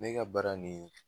Ne ga baara nin